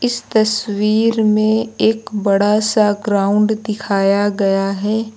इस तस्वीर में एक बड़ा सा ग्राउंड दिखाया गया है।